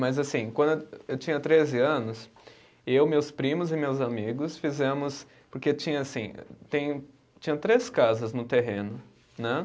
Mas assim, quando eu, eu tinha treze anos, eu, meus primos e meus amigos fizemos, porque tinha assim, tem tinha três casas no terreno, né?